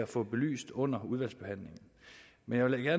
får belyst under udvalgsbehandlingen men jeg vil da